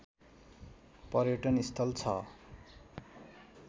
पर्यटनस्थल छ